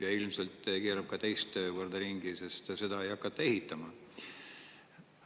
Ja ilmselt keerab ta ka teist korda ringi, sest seda ei hakata ehitama.